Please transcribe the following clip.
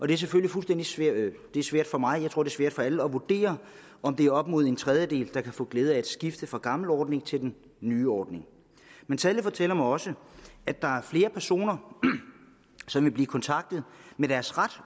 det er selvfølgelig svært for mig og jeg tror det er svært for alle at vurdere om det er op imod en tredjedel der kan få glæde af et skift fra den gamle ordning til den nye ordning men tallet fortæller mig også at der er flere personer som vil blive kontaktet om deres ret